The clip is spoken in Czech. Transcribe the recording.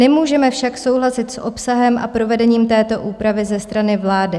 Nemůžeme však souhlasit s obsahem a provedením této úpravy ze strany vlády.